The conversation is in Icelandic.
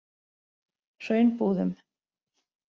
Hraunbúðum